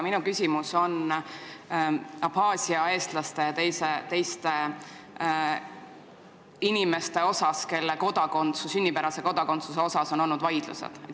See on Abhaasia eestlaste ja teiste inimeste kohta, kelle sünnipärase kodakondsuse suhtes on käinud vaidlused.